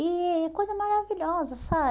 E coisa maravilhosa, sabe?